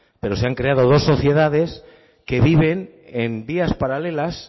pero se han creado dos sociedades que viven en vías paralelas